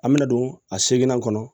An bɛna don a segini kɔnɔ